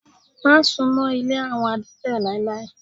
Má sunmọ ilé àwọn adete láéláé!